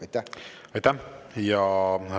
Aitäh!